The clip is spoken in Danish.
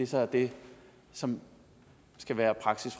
så er det som skal være praksis